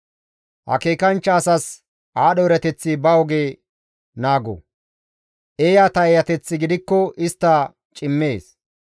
Akeekanchcha asas aadho erateththi ba oge naago; eeyata eeyateththi gidikko istta cimmees.